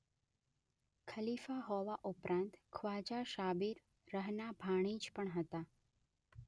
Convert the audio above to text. ખલીફા હોવા ઉપરાંત ખ્વાજા સાબિર રહના ભાણેજ પણ હતા.